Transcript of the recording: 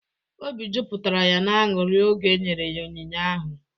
Obi jupụtara ya n'aṅụri oge e nyere ya onyinye ahụ.